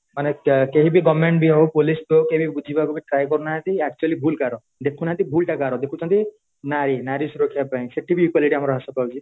ମାନେ କେହିବି government ହଉ police ବି ହଉ କେହିବି ବୁଝିବାକୁ ବି try କରୁନାହାନ୍ତି actually ଭୁଲ କାହାର ଦେଖୁନାହାନ୍ତି ଭୁଲଟା କାହାର ଦେଖୁଛନ୍ତି ନାରୀ ନାରୀ ସୁରକ୍ଷା ପାଇଁ ସେଠିବି equality ଆମର ହ୍ରାସ ପାଉଛି